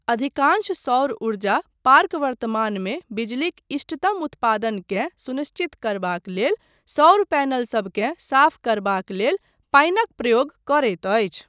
अधिकांश सौर ऊर्जा पार्क वर्तमानमे बिजलीक इष्टतम उत्पादनकेँ सुनिश्चित करबाक लेल सौर पैनलसभकेँ साफ करबाक लेल पानिक प्रयोग करैत अछि।